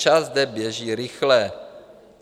Čas zde běží rychle.